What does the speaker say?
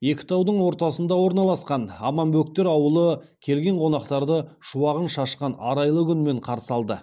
екі таудың ортасына орналасқан аманбөктер аулы келген қонақтарды шуағын шашқан арайлы күнмен қарсы алды